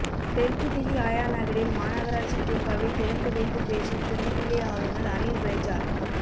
தெற்கு தில்லி ஆயாநகரில் மாநகராட்சிப் பூங்காவை திறந்து வைத்துப் பேசும் துணைநிலை ஆளுநா் அனில் பய்ஜால்